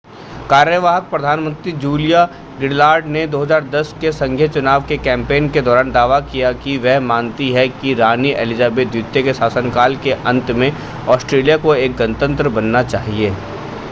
कार्यवाहक प्रधानमंत्री Julia Gillard ने 2010 के संघीय चुनाव के कैंपेन के दौरान दावा किया कि वह मानती हैं कि रानी एलिजाबेथ द्वितीय के शासनकाल के अंत में ऑस्ट्रेलिया को एक गणतंत्र बनना चाहिए